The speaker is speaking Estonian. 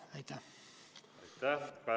Kaja Kallas, palun!